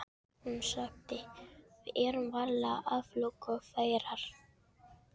Hún sagði: Við erum varla aflögufærar.